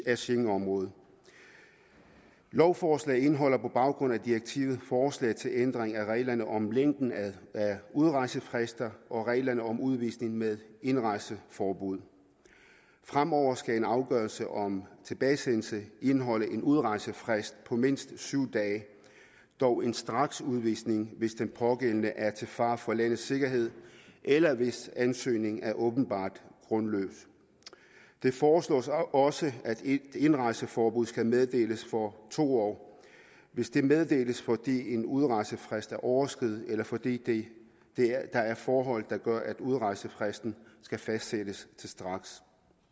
af schengenområdet lovforslaget indeholder på baggrund af direktivet forslag til ændring af reglerne om længden af udrejsefrister og reglerne om udvisning med indrejseforbud fremover skal en afgørelse om tilbagesendelse indeholde en udrejsefrist på mindst syv dage dog en straksudvisning hvis den pågældende er til fare for landets sikkerhed eller hvis ansøgningen er åbenbart grundløs det foreslås også at indrejseforbud skal meddeles for to år hvis det meddeles fordi en udrejsefrist er overskredet eller fordi der er forhold der gør at udrejsefristen skal fastsættes til straks